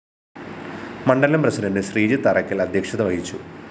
മണ്ഡലം പ്രസിഡന്റ് ശ്രീജിത്ത് അറ്ക്കല്‍ അദ്ധ്യക്ഷത വഹിച്ചു